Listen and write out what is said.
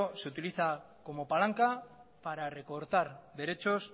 se utiliza como palanca para recortar derechos